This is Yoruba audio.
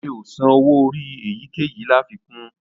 Mi ò san owó orí èyíkéyìí láfikún